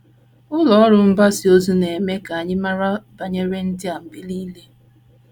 Ụlọ ọrụ mgbasa ozi na - eme ka anyị mara banyere ndị a mgbe nile.